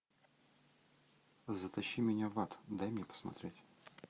затащи меня в ад дай мне посмотреть